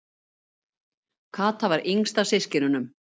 Kata var yngst af systkinunum.